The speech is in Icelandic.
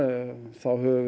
þá höfum við